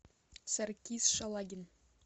саркис шалагин